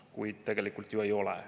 Kuid tegelikult ju ei ole.